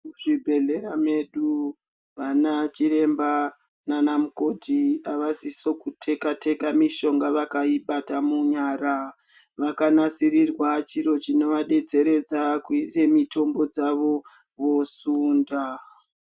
Muzvibhedhleya medu vana chiremba naana mukoti avasiso kuteka teka mishonga vakaibata munyara vakanasiriwa chiro chinovadetseredza kuisa mitombo dzavo vosunda.